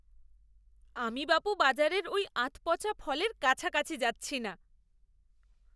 আমি বাপু বাজারের ওই আধপচা ফলের কাছাকাছি যাচ্ছি না।